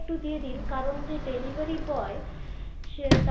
সে একটু দিয়ে দিন, কারণ যে delivery boy.